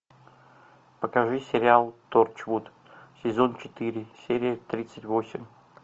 покажи сериал торчвуд сезон четыре серия тридцать восемь